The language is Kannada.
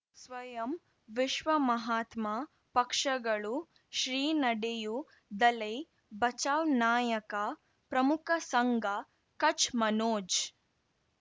ಸ್ವಯಂ ವಿಶ್ವ ಮಹಾತ್ಮ ಪಕ್ಷಗಳು ಶ್ರೀ ನಡೆಯೂ ದಲೈ ಬಚೌ ನಾಯಕ ಪ್ರಮುಖ ಸಂಘ ಕಚ್ ಮನೋಜ್